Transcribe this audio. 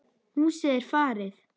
Húsið er farið.